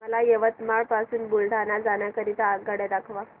मला यवतमाळ पासून बुलढाणा जाण्या करीता आगगाड्या दाखवा